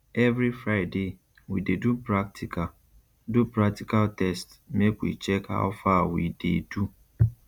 every friday we dey do practical do practical test make we check how far we dey do